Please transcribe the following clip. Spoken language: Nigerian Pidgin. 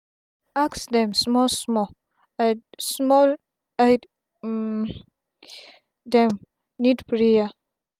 ask dem smal small id small id um dem need prayer